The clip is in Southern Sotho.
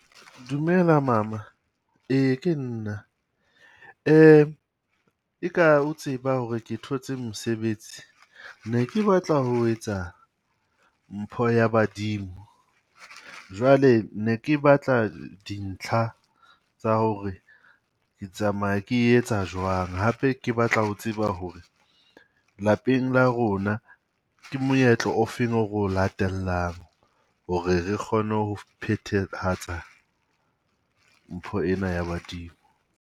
Dumela mama. Ee ke nna. E ka o tseba hore ke thotse mosebetsi ne ke batla ho etsa mpho ya Badimo. Jwale ne ke batla dintlha tsa hore ke tsamaya ke etsa jwang. Hape ke batla ho tseba hore lapeng la rona ke moetlo o feng o ro o latelang, hore re kgone ho phethalahatsa mpho ena ya Badimo?